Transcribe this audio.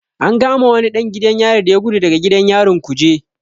An kama wani ɗan gidan yari da ya gudu daga gidan yarin kuje.